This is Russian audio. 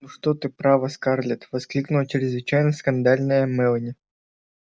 ну что ты право скарлетт воскликнула чрезвычайно скандальная мелани